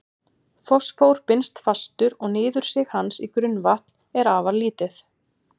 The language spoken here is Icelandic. Fosfór binst fastur og niðursig hans í grunnvatn er afar lítið.